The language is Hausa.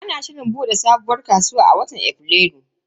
Ana shirin bude sabuwar kasuwar a watan Afrilu.